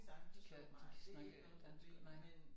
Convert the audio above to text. De kan de kan snakke dansk nej